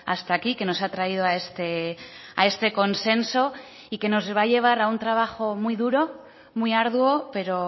hasta aquí que nos ha traído a este consenso y que nos va a llevar a un trabajo muy duro muy arduo pero